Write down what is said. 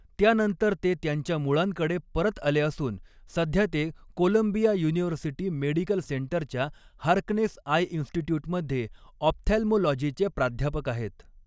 त्यानंतर ते त्यांच्या मुळांकडे परत आले असून, सध्या ते कोलंबिया युनिव्हर्सिटी मेडिकल सेंटरच्या हार्कनेस आय इन्स्टिटय़ूटमध्ये ऑप्थॅल्मॉलॉजीचे प्राध्यापक आहेत.